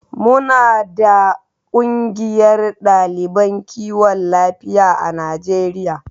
Muna da kungiyar daliban kiwon lafiya a Najeriya.